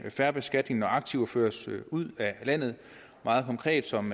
fair beskatning når aktiver føres ud af landet meget konkret som